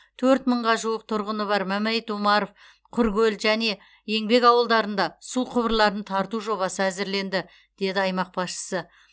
төрт мыңға жуық тұрғыны бар мәмәйіт омаров құркөл және еңбек ауылдарында су құбырларын тарту жобасы әзірленді деді аймақ басшысы